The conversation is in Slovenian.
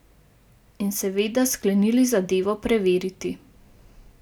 In seveda sklenili zadevo preveriti.